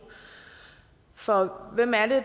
for hvem er det